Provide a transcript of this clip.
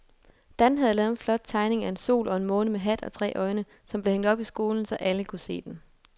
Dan havde lavet en flot tegning af en sol og en måne med hat og tre øjne, som blev hængt op i skolen, så alle kunne se den.